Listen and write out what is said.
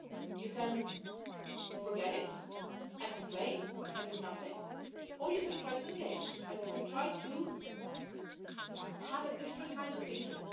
You can forget it and complain and do nothing, or you can try to engage and you can try to have a different kind of picture.